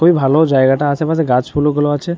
খুবই ভালো জায়গাটা। আশেপাশে গাছফুল গুলো আছে ।